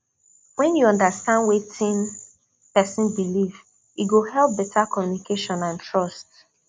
when you understand wetin person believe e go help better communication and trust